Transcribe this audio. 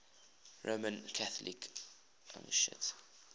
roman catholic archdiocese